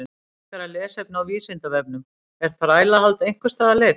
Frekara lesefni á Vísindavefnum Er þrælahald einhvers staðar leyft?